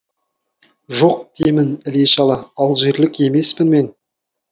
жоқ деймін іле шала алжирлік емеспін мен